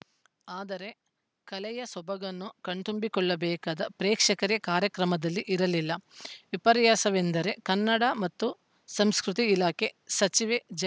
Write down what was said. ಆದರೆ ಕಲೆಯ ಸೊಬಗನ್ನು ಕಣ್ತುಂಬಿಕೊಳ್ಳಬೇಕಾದ ಪ್ರೇಕ್ಷಕರೇ ಕಾರ್ಯಕ್ರಮದಲ್ಲಿ ಇರಲಿಲ್ಲ ವಿಪರಾರ‍ಯಸವೆಂದರೆ ಕನ್ನಡ ಮತ್ತು ಸಂಸ್ಕೃತಿ ಇಲಾಖೆ ಸಚಿವೆ ಜ್